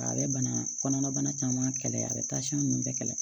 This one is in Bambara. A bɛ bana kɔnɔna bana caman kɛlɛ a bɛ ninnu bɛɛ kɛlɛ